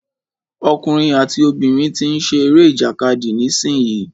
Ọkùnrin àti obìnrin tí ń ṣe eré ìjàkadì nísìyí.